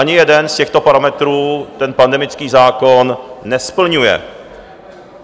Ani jeden z těchto parametrů ten pandemický zákon nesplňuje.